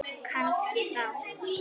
Kannski þá.